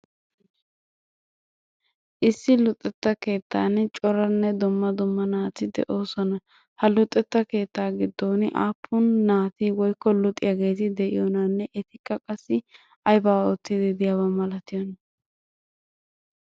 Issi luxetta keettan coranne dumma dumma naati de'oosona. Ha luxetta keettaa giddon aappun naati woyikko luxiyageeti de'iyonaanne etikka qassi ayibaa oottiiddi diyaba malatiyona?